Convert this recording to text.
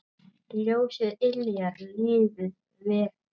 Ljósið yljar lífið vekur.